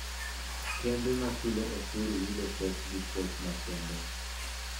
Kembe machulo osuru yudo pok gi puoch makende